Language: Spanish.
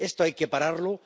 Esto hay que pararlo.